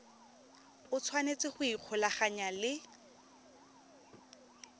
o tshwanetse go ikgolaganya le